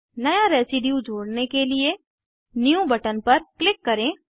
नया रेसीड्यू जोड़ने के लिए न्यू बटन पर क्लिक करें